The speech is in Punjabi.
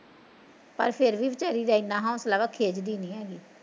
ਪਰ ਫੇਰ ਵੀ ਵੀਚਾਰੀ ਦਾ ਇਨਾਂ ਹੋਸਲਾ ਵਾ ਖਿੱਚਦੀ ਨੀ ਹੈਗੀ